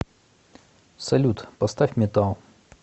салют поставь металл